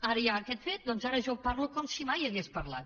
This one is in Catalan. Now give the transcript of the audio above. ara hi ha aquest fet doncs jo ara en parlo com si mai hagués parlat